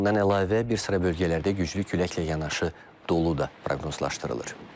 Bundan əlavə, bir sıra bölgələrdə güclü küləklə yanaşı dolu da proqnozlaşdırılır.